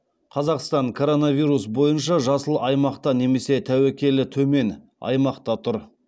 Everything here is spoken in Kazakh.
қазақстан коронавирус бойынша жасыл аймақта немесе тәуекелі төмен аймақта тұр